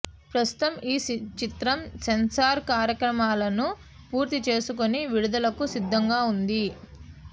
ప్రస్తుతం ఈ చిత్రం సెన్సార్ కార్యక్రమాలను పూర్తి చేసుకుని విడుదలకు సిద్ధంగా ఉంది